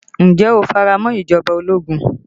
Ǹjẹ́ o fi ara mọ́ ìjọba ológun?